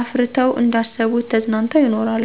አፍረተው እንደ አሰቡት ተዝናንተው ይኖራሉ።